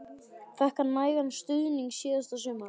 Fékk hann nægan stuðning síðasta sumar?